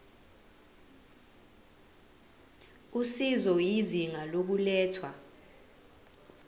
usizo izinga lokulethwa